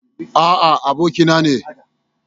A'a, abokina ne.